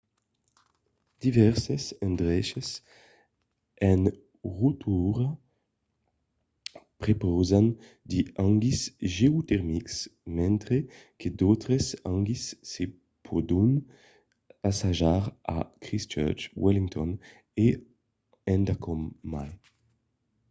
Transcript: divèrses endreches a rotorua prepausan de hangis geotermics mentre que d'autres hangis se pòdon assajar a christchurch wellington e endacòm mai